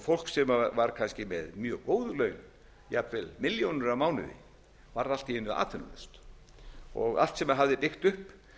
fólk sem var kannski með mjög góð laun jafnvel milljónir á mánuði varð allt í einu atvinnulaust og allt sem það hafði byggt upp